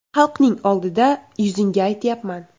Xalqning oldida yuzingga aytyapman.